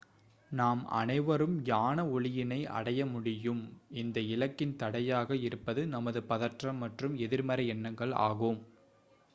நாம் அனைவரும் ஞான ஒளியினை அடையமுடியும் இந்த இலக்கின் தடையாக இருப்பது நமது பதற்றம் மற்றும் எதிர்மறை எண்ணங்கள் ஆகும்